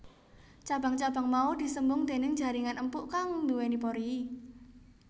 Cabang cabang mau disembung déning jaringan empuk kang duweni pori